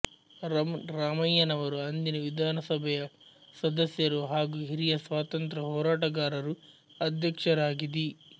ರಂ ರಾಮಯ್ಯನವರು ಅಂದಿನ ವಿಧಾನಸಭೆಯ ಸದಸ್ಯರು ಹಾಗೂ ಹಿರಿಯ ಸ್ವಾತಂತ್ರ್ಯ ಹೋರಾಟಗಾರರು ಅಧ್ಯಕ್ಷರಾಗಿ ದಿ